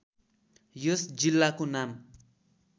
यस जिल्लाको नाम